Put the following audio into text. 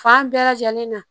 Fan bɛɛ lajɛlen na